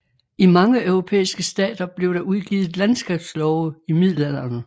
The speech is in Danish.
I mange europæiske stater blev der udgivet landskabslove i middelalderen